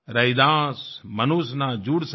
रैदास मनुष ना जुड़ सके